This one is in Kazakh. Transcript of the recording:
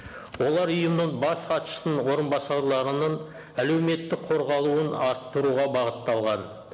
олар ұйымның бас хатшысының орыбасарларының әлеуметтік қорғалуын арттыруға бағытталған